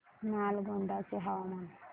नालगोंडा चे हवामान